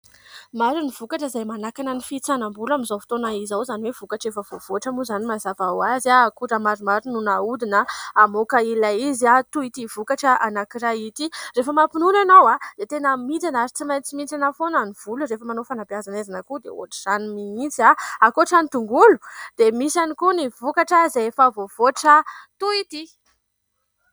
Maro ny vokatra izay manakana ny fihintsanam-bolo amin'izao fotoana izao, izany hoe vokatra efa voavoatra moa izany mazava ho azy a, akora maromaro no naodina hamoaka ilay izy toy ity vokatra anankiray ity. Rehefa mampinono ianao dia tena mihintsana ary tsy maintsy mihintsana foana ny volo, rehefa manao fanabeazana aizana koa dia ohatra izany mihitsy a, ankoatra ny tongolo dia misy ihany koa ny vokatra izay efa voavoatra toy ity.